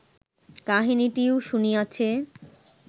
কাহিনীটিও শুনিয়াছে